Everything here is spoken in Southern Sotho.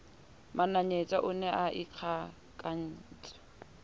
mananyetsa o ne a ikgakantse